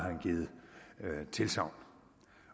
givet tilsagn